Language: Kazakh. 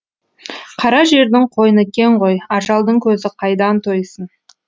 қара жердің қойны кең ғой ажалдың көзі қайдан тойсын